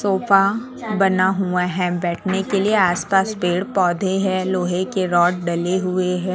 Sofa बना हुआ है बैठने के लिए आस पास पेड़ पौधे है लोहे के राड डले हुए है।